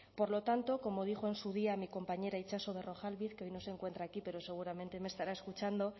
por lo tanto como dijo en su día mi compañera itxaso berrojalbiz que hoy no se encuentra aquí pero seguramente me estará escuchando